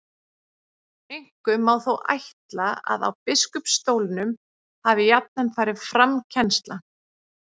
Einkum má þó ætla að á biskupsstólunum hafi jafnan farið fram kennsla.